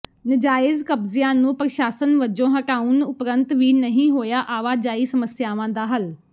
ਨਾਜਾਇਜ਼ ਕਬਜ਼ਿਆਂ ਨੂੰ ਪ੍ਰਸ਼ਾਸਨ ਵਜੋਂ ਹਟਾਉਣ ਉਪਰੰਤ ਵੀ ਨਹੀਂ ਹੋਇਆ ਆਵਾਜਾਈ ਸਮੱਸਿਆਵਾਂ ਦਾ ਹੱਲ